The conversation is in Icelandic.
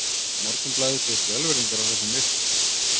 Morgunblaðið biðst velvirðingar á þessum mistökum